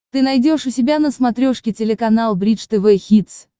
ты найдешь у себя на смотрешке телеканал бридж тв хитс